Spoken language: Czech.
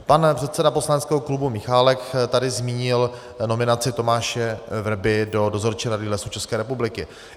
Pan předseda poslaneckého klubu Michálek tady zmínil nominaci Tomáše Vrby do Dozorčí rady Lesů České republiky.